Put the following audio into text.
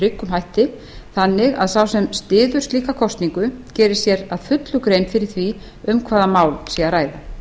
tryggum hætti þannig að sá sem styður slíka kosningu geri sér að fullu grein fyrir því um hvaða mál sé að ræða